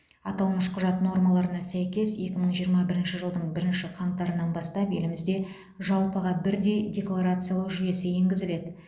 аталмыш құжат нормаларына сәйкес екі мың жиырма бірінші жылдың бірінші қаңтарынан бастап елімізде жалпыға бірдей декларациялау жүйесі енгізіледі